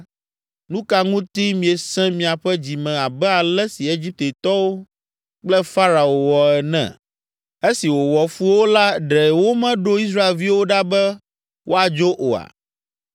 Nu ka ŋuti miesẽ miaƒe dzi me abe ale si Egiptetɔwo kple Farao wɔ ene? Esi wòwɔ fu wo la ɖe womeɖo Israelviwo ɖa be woadzo oa?